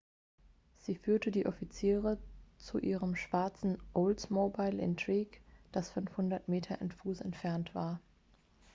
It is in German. sie führte die offiziere zu ihrem schwarzen oldsmobile intrigue das 500 fuß entfernt war